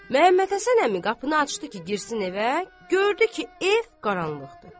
Məmmədhəsən əmi qapını açdı ki, girsin evə, gördü ki, ev qaranlıqdır.